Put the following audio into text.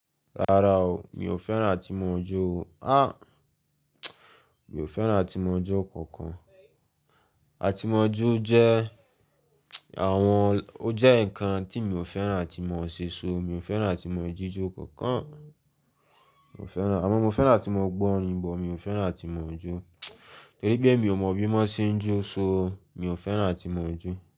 Rárá o, mi ò fẹ́ràn àtimọ́ jo o. Ah! Mi ò fẹ́ràn àtimọ́ jo kankan. Àtimọ́ jo jẹ́ àwọn-- ó jẹ́ ǹkan tí mi ò fẹ́ràn atí mọ̀ ṣe ṣo mi ò fẹ́ràn àtimọ́ jíjó kankan. Mi ò fẹ́ràn-- àmọ́ mo fẹ́ràn atí mo gbọ́ orin bọ, mi ò fẹ́ràn àtimọ́ jo. Torí pé mi ò mọ bí wọ́n ṣe ń jó ṣo, mi ò fẹ́ràn àtimọ́ jo.